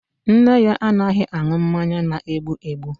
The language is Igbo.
Nne ya anaghị aṅụ mmanya na-egbu egbu